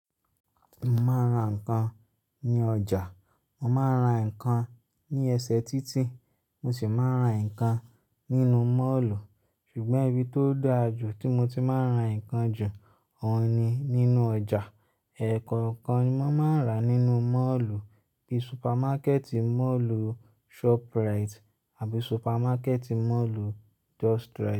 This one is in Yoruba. Mo máa ń ra nǹkan ní ọjà, mo máa ń ra nǹkan ní ẹsẹ̀ títì, mo sì máa ń ra nǹkan nínú Mọ́ọ̀lù. Ṣùgbọ́n ibi tó dára jù tí mo ti máa ń ra nǹkan jù ọ̀un ni nínú ọjà. Ẹ̀ẹ̀kọ̀kan ni mò máa ń rà nínú Mọ́ọ̀lù bí supermákẹ́ẹ̀tì Mọ́ọ̀lù Shoprite àbí supermákẹ́ẹ̀tì Mọ́ọ̀lù Justrite.